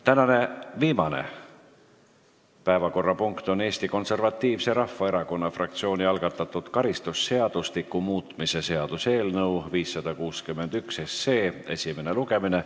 Tänane viimane päevakorrapunkt on Eesti Konservatiivse Rahvaerakonna fraktsiooni algatatud karistusseadustiku muutmise seaduse eelnõu 561 esimene lugemine.